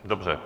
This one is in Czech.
Dobře.